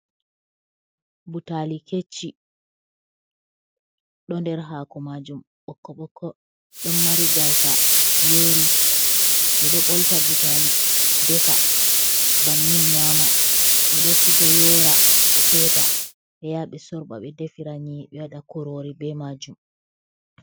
Butali kecci ɗo nder hako majum ɓokko ɓokko, ɗon mari gasa yori, ɓeɗo ɓolta butali defa bannin nyama, ɓeɗo siga yora ɓe feta ɓeyaɓe sorɓa ɓe defi ra nyiri ɓe waɗa kurori be majum.